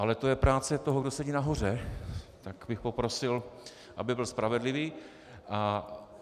Ale to je práce toho, kdo sedí nahoře, tak bych poprosil, aby byl spravedlivý.